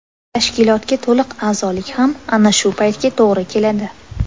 Tashkilotga to‘liq a’zolik ham ana shu paytga to‘g‘ri keladi.